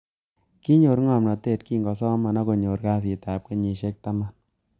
Kinyor ngomnatet kingosoman ak konyor kasitab kenyisiek tamn